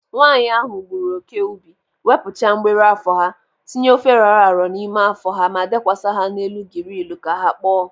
Nwaanyị ahụ gburu oke ubi, wepụcha mgbiri afọ ha, tinye ofe rọrọ arọ n'ime afọ ha ma dekwasa ha n'elu girilu ka ha kpọọ.